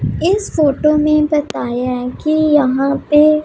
इस फोटो में बताया है कि यहां पे--